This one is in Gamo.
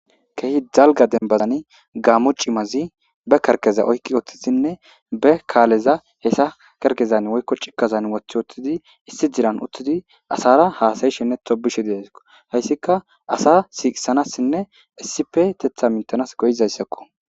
kehi dalga denbadani gaamo cimazi be kerkeza oykqi woththisinne be kaaleza hessa kerkezan woykko cikkazan woth woththidi issi jiran uttidi asara haasayishinne tobishe deeso hayssika asa siiqisanassinne issipe tetha mintanas goyizayssakko